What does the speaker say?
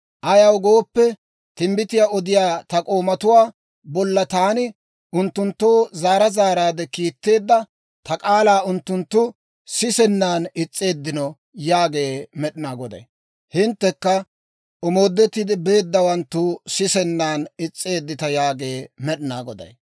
Ayaw gooppe, timbbitiyaa odiyaa ta k'oomatuwaa bolla taani unttunttoo zaara zaaraadde kiitteedda ta k'aalaa unttunttu sisennan is's'eeddino yaagee Med'inaa Goday. Hinttekka omoodetti beeddawanttu sisennan is's'eeddita yaagee Med'inaa Goday.